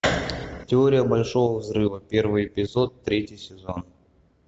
теория большого взрыва первый эпизод третий сезон